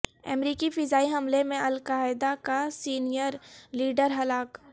امریکی فضائی حملے میں القاعدہ کا سینئر لیڈر ہلاک